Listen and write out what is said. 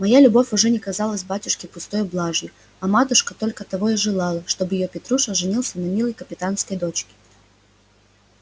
моя любовь уже не казалась батюшке пустою блажью а матушка только того и желала чтоб её петруша женился на милой капитанской дочке